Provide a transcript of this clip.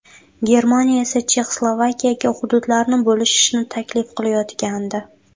Germaniya esa Chexoslovakiyaga hududlarni bo‘lishishni taklif qilayotgandi.